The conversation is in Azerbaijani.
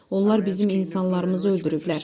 Onlar bizim insanlarımızı öldürüblər.